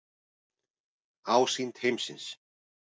Ásýnd heimsins.